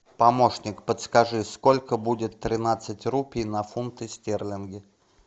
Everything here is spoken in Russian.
помощник подскажи сколько будет тринадцать рупий на фунты стерлинги